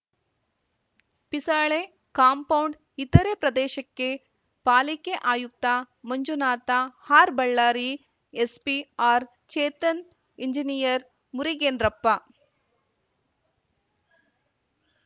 Pisale compound ಇತರೆ ಪ್ರದೇಶಕ್ಕೆ ಪಾಲಿಕೆ ಆಯುಕ್ತ ಮಂಜುನಾಥ ಆರ್ಬಳ್ಳಾರಿ ಎಸ್ಪಿ ಆರ್‌ಚೇತನ್‌ ಇಂಜಿನಿಯರ್‌ ಮುರಿಗೇಂದ್ರಪ್ಪ